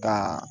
Ka